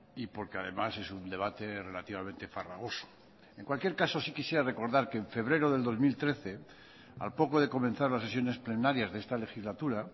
y porque además es un debate relativamente farragoso en cualquier caso sí quisiera recordar que en febrero del dos mil trece al poco de comenzar las sesiones plenarias de esta legislatura